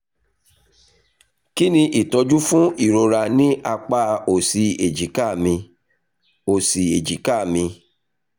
kí ni ìtọ́jú fún ìrora ní apá òsì èjìká mi? òsì èjìká mi?